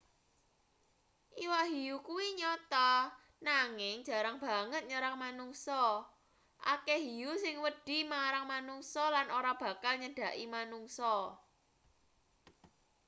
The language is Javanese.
iwak hiu kuwi nyata nanging jarang banget nyerang manungsa akeh hiu sing wedi marang manungsa lan ora bakal nyedhaki manungsa